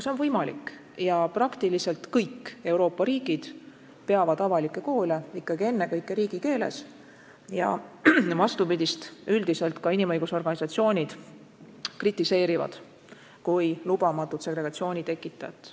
See on võimalik ja praktiliselt kõik Euroopa riigid peavad avalikke koole ikkagi ennekõike riigikeeles ja vastupidist korda üldiselt ka inimõiguste organisatsioonid kritiseerivad kui lubamatut segregatsiooni tekitajat.